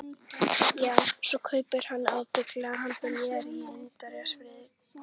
Já, svo kaupir hann ábyggilega handa þér indíánafjaðrir.